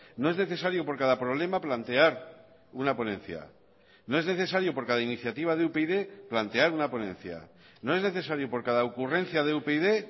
no es necesario por cada problema plantear una ponencia no es necesario por cada iniciativa de upyd plantear una ponencia no es necesario por cada ocurrencia de upyd